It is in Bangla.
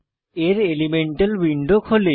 এর এলিমেন্টাল উইন্ডো খোলে